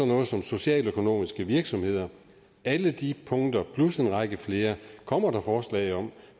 noget som socialøkonomiske virksomheder alle de punkter plus en række flere kommer der forslag om